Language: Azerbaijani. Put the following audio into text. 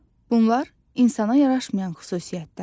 Bunlar insana yaraşmayan xüsusiyyətlərdir.